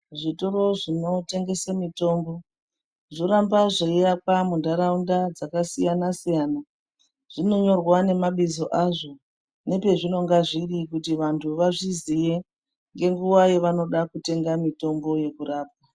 Zvitoro zvinotengese mitombo zvoramba zveiakwa mundaraunda dzakasiyana siyana zvinonyorwa nemabizo azvo nepezvinonga zviri kuti antu azviziye ngenguwa yavanode kutenga mitombo yekurapa